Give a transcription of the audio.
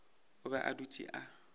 o be a dutše a